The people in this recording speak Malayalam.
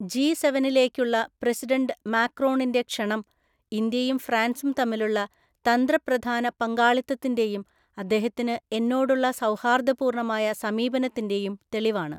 ജി സെവെനിലേക്കുള്ള പ്രസിഡന്റ് മാക്രോണിന്റെ ക്ഷണം ഇന്ത്യയും ഫ്രാന്‍സും തമ്മിലുള്ള തന്ത്രപ്രധാന പങ്കാളിത്തത്തിന്റെയുംഅദ്ദേഹത്തിന് എന്നോടുള്ള സൗഹാര്‍ദ്ദപൂര്‍ണ്ണമായ സമീപനത്തിന്റെയും തെളിവാണ്.